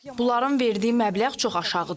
Bunların verdiyi məbləğ çox aşağıdır.